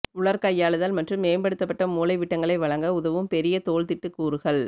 உலர் கையாளுதல் மற்றும் மேம்படுத்தப்பட்ட மூலைவிட்டங்களை வழங்க உதவும் பெரிய தோள் திட்டு கூறுகள்